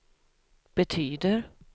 betyder